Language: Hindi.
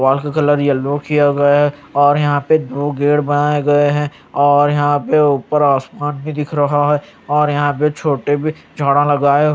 वॉल का कलर येलो किया गया है और यहां पे दो गेट बनाए गए हैं और यहां पे ऊपर आसमान भी दिख रहा है और यहां पे छोटे बिछवाना लगाए हुए--